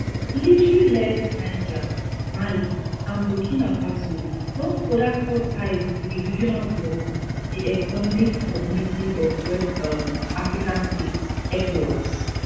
military led niger mali and burkina faso don further cut ties with di regional bloc di economic community of west um african states ecowas